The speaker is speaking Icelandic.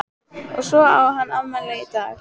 Og svo á hann afmæli í dag.